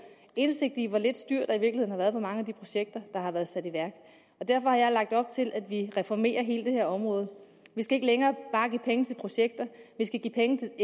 indsigt i hvor lidt styr der i virkeligheden har været på mange af de projekter der har været sat i værk derfor har jeg lagt op til at vi reformerer hele det her område vi skal ikke længere bare give penge til projekter vi skal give penge til